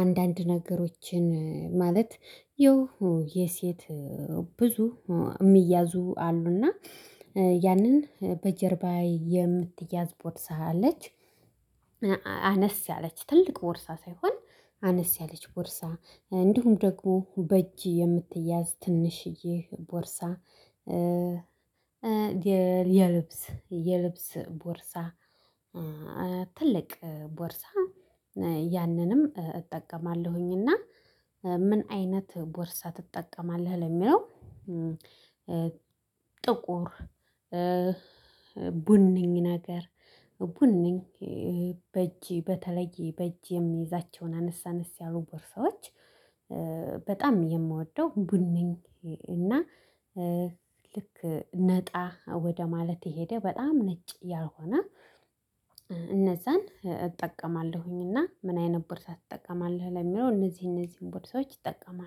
አንዳንድ ነገሮችን ማለት ይው የሴት ብዙ የሚያዙ አሉና። ያንን በጀርባዬ የምትያዝ ቦድሳ አለ። አነስ ያለች ትልቅ ቦርሳ ሳይሆን አነስ ያለች ቦርሳ፤ እንዲሁም ደግሞ በእጅ የምትያዝ ትንሽዬ ቦርሳ የልብስ የልብስ ቦርሳ ትልቅ ቦርሳ እጠቀማለሁኝ። እና ምን አይነት ቦርሳ ትጠቀማለህ? ለሚለው ጥቁር ቡንኝ ነገር በእጅ በተለይ በእጅ የምይዛቸውን አነሳነስ ያሉ ቦርሳዎች በጣም የምወደው ቡነኝ እና ልክ ነጣ ወደ ማለት የሄደ በጣም ነጭ ያልሆነ እነዛን እጠቀማለሁኝ። እና ምን አይነት ቦርሳ ትጠቀማለህ ለሚለው እነዚህ እነዚህን ቦርሳዎች እይጠቀማለሁ።